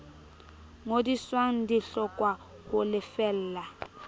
ngodiswang di hlokwa ho lefella